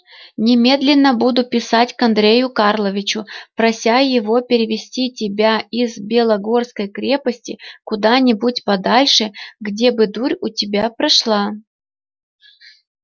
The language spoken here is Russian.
немедленно буду писать к андрею карловичу прося его перевести тебя из белогорской крепости куда-нибудь подальше где бы дурь у тебя прошла